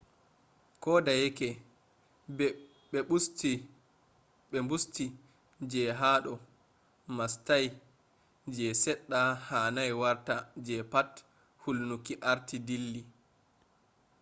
kodeyeke be busti je hado mastayi je sedda hanai warta je pat hulnuki arti dilli